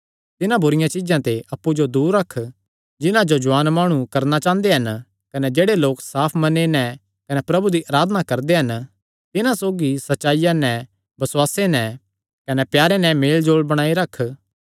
तिन्हां बुरिआं चीज्जां ते अप्पु जो दूर रख जिन्हां जो जुआन माणु करणा चांह़दे हन कने जेह्ड़े लोक साफ मने नैं प्रभु दी अराधना करदे हन तिन्हां सौगीसौगी सच्चाईया नैं बसुआस नैं कने प्यार नैं भी मेलजोल बणाई नैं रख